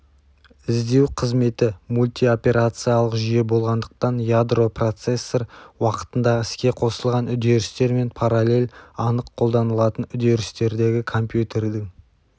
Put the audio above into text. іздеу қызметі мультиоперациялық жүйе болғандықтан ядро процессор уақытындағы іске қосылған үдерістер мен параллель анық қолданылатын үдерістердегі компьютердің